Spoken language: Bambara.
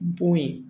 Bo ye